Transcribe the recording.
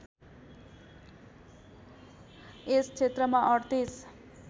यस क्षेत्रमा ३८